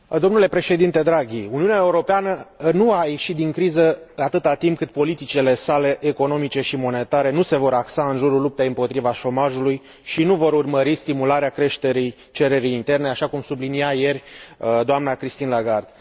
Domnule președinte Draghi, Uniunea Europeană nu a ieșit din criză, atâta timp cât politicile sale economice și monetare nu se vor axa în jurul luptei împotriva șomajului și nu vor urmări stimularea creșterii cererii interne, așa cum sublinia ieri doamna Christine Lagarde.